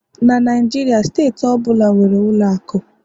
na Naijiria, steeti ọ bụla nwere ụlọ akụ